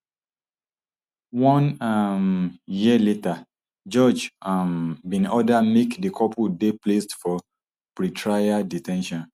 one um year later judge um bin order make di couple dey placed for pretrial de ten tion